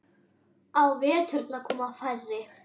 Á veturna koma færri.